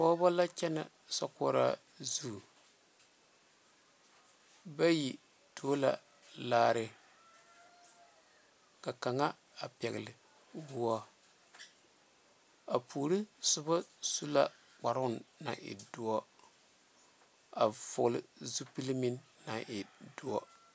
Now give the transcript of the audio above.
Pɔgebo la kyɛne sokoɔraa zu bayi tuo la laare ka kaŋa a pegle woɔ a puori soba su la kparo naŋ e doɔ a vɔgle zupele meŋ naŋ e doɔ.